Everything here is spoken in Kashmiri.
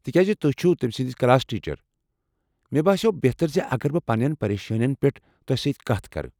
تہِ كیازِ تُہۍ چھو تمہِ سٕندۍ کلاس ٹیچر، مےٚ باسیو٘ بہتر زِ اگر بہٕ پنٛنیٚن پریشانین پٮ۪ٹھ تۄہہ سۭتۍ کتھ کرٕنۍ۔